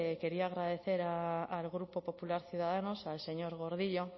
quería agradecer al grupo popular ciudadanos al señor gordillo